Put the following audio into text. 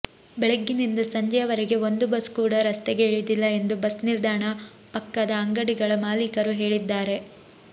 ಬೆಳಗಿನಿಂದ ಸಂಜೆಯವರೆಗೆ ಒಂದು ಬಸ್ ಕೂಡ ರಸ್ತೆಗೆ ಇಳಿದಿಲ್ಲ ಎಂದು ಬಸ್ ನಿಲ್ದಾಣ ಪಕ್ಕದ ಅಂಗಡಿಗಳ ಮಾಲೀಕರು ಹೇಳಿದ್ದಾರೆ